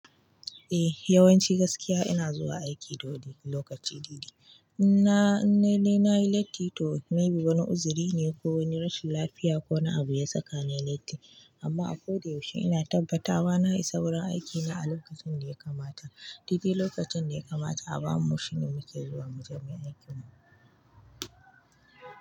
Eh yawanci gaskiya ina zuwa aiki da wuri lokaci dedai in namayi latti toh wani uzurine ko wani rashin lafayi yasani latti. Amma a ko da yaushe ina tabbata wa na isa wurin aikina a lokacin da ya kamata. Dadai lokacin da ya kamata a bamu shine mu ke zuwa muje muyi aikin mu.